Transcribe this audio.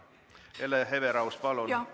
Hele Everaus, palun!